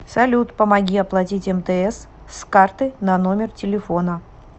салют помоги оплатить мтс с карты на номер телефона